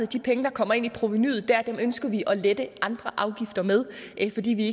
de penge der kommer ind i provenuet ønsker vi at lette andre afgifter med fordi vi